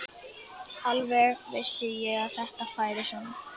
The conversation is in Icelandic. Alveg vissi ég að þetta færi svona!